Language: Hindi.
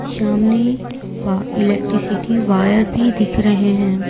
शामने वा इलेक्ट्रिसिटी वायर भी दिख रहे हैं।